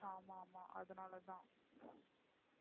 அதனால தான்